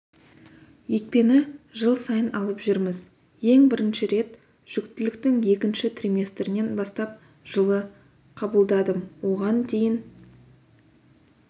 екпені жыл сайын алып жүрміз ең бірінші рет жүктіліктің екінші триместрінен бастап жылы қабылдадым оған дейін